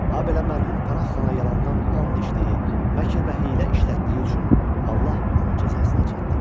Habelə mərhum Pənah xana yalandan and içdiyi, məkr və hiylə işlətdiyi üçün Allah onu cəzasına çatdırdı.